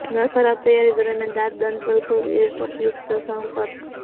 nurse ખરાબ તૈયારી દરમિયાન દાંત દંતવલ્ક ઇલેક્ટ્રોડ યુક્ત સંપર્ક કરો